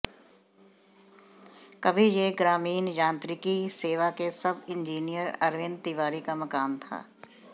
कभी यह ग्रामीण यांत्रिकी सेवा के सब इंजीनियर अरविंद तिवारी का मकान था